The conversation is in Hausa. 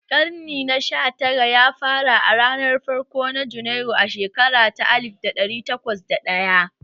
Karnin na sha tara ya fara a ranar farko na Junairu a shekara ta alif ɗari takwas da ɗaya